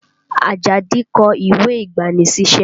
Ajadi kọ ìwé ìgbani-sísẹ́